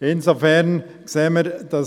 Insofern sehen wir, dass